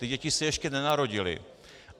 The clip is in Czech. Ty děti se ještě nenarodily.